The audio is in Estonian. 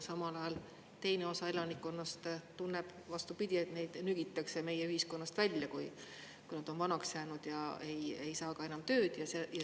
Samal ajal teine osa elanikkonnast tunneb vastupidi, et neid nügitakse meie ühiskonnast välja, kui nad on vanaks jäänud ja ei saa ka enam tööd.